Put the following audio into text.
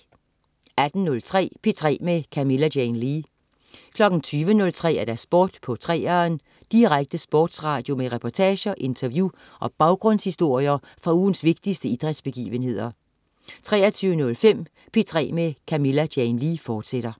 18.03 P3 med Camilla Jane Lea 20.03 Sport på 3'eren. Direkte sportsradio med reportager, interview og baggrundshistorier fra ugens vigtigste idrætsbegivenheder 23.05 P3 med Camilla Jane Lea, fortsat